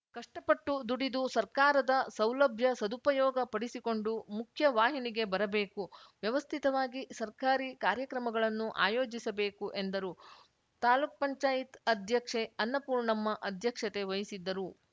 ಕಷ್ಟಪಟ್ಟು ದುಡಿದು ಸರ್ಕಾರದ ಸೌಲಭ್ಯ ಸದುಪಯೋಗ ಪಡಿಸಿಕೊಂಡು ಮುಖ್ಯ ವಾಹಿನಿಗೆ ಬರಬೇಕು ವ್ಯವಸ್ಥಿತವಾಗಿ ಸರ್ಕಾರಿ ಕಾರ್ಯಕ್ರಮಗಳನ್ನು ಆಯೋಜಿಸಬೇಕು ಎಂದರು ತಾಲ್ಲುಕ್ ಪಂಚಾಯತ್ ಅಧ್ಯಕ್ಷೆ ಅನ್ನಪೂರ್ಣಮ್ಮ ಅಧ್ಯಕ್ಷತೆ ವಹಿಸಿದ್ದರು